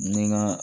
Ni n ka